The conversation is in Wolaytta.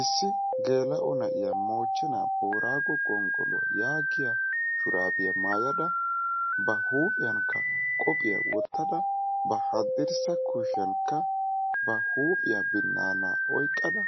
Issi geela'o na'iyaa moochenaa booraago gonggoluwaa yaagiya shuraabiya maayada ba huuphiyankka qophiya wotada ba hadirssa kushiyankka ba huuphiya binaana oyqada